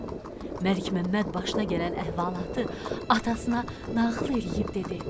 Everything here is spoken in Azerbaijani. Məlikməmməd başına gələn əhvalatı atasına nağıl eləyib dedi: